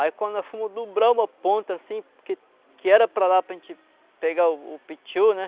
Aí quando nós fomos dobrar uma ponta assim, porque que era para dar para a gente pegar o pitiu, né?